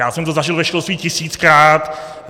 Já jsem to zažil ve školství tisíckrát.